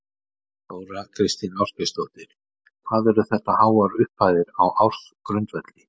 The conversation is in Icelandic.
Þóra Kristín Ásgeirsdóttir: Hvað eru þetta háar upphæðir á ársgrundvelli?